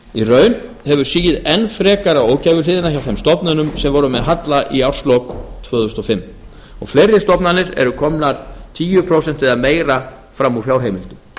í raun hefur sigið enn frekar á ógæfuhliðina hjá þeim stofnunum sem voru með halla í árslok tvö þúsund og fimm og fleiri stofnanir eru komnar tíu prósent eða meira fram út fjárheimildum